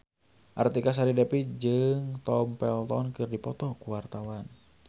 Artika Sari Devi jeung Tom Felton keur dipoto ku wartawan